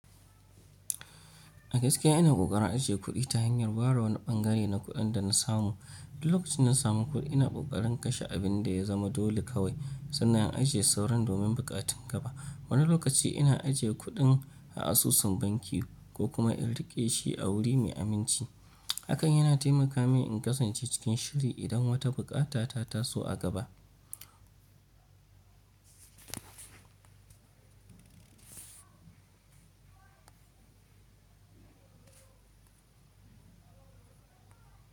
A gaske ina kokarin ajiye kuɗi ta hanyar barin wani ɓangare na kuɗin da na samu. Duk lokacin da na samu kuɗi, ina kokarin kashe abin da ya zama dole kawai sannan in ajiye sauran domin buƙatun gaba. Wani lokaci ina ajiye kuɗin a asusun banki ko kuma in riƙe shi a wuri mai aminci. Hakan yana taimaka min in kasance cikin shiri idan wata bukata ta taso a gaba.